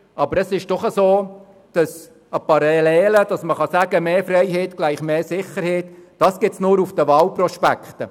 dass man parallel dazu aber sagen könnte, mehr Freiheit gleich mehr Sicherheit, das gibt es nur auf Wahlprospekten.